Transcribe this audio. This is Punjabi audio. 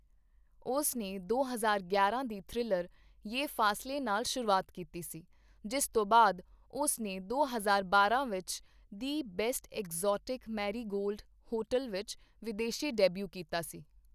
ਉਸ ਨੇ ਦੋ ਹਜ਼ਾਰ ਗਿਆਰਾਂ ਦੀ ਥ੍ਰਿਲਰ 'ਯੇ ਫਾਸਲੇ' ਨਾਲ ਸ਼ੁਰੂਆਤ ਕੀਤੀ ਸੀ, ਜਿਸ ਤੋਂ ਬਾਅਦ ਉਸ ਨੇ ਦੋ ਹਜ਼ਾਰ ਬਾਰਾਂ ਵਿੱਚ 'the best exotic marigold hotel' ਵਿੱਚ ਵਿਦੇਸ਼ੀ ਡੈਬਿਊ ਕੀਤਾ ਸੀ।